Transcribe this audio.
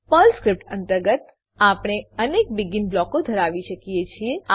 Perl script અંતર્ગત આપણે અનેક બેગિન બ્લોકો ધરાવી શકીએ છીએ